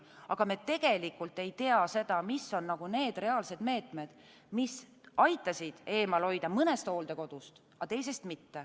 Aga me ei tea seda, mis on need reaalsed meetmed, mis aitasid eemal hoida mõnest hooldekodust, aga teisest mitte.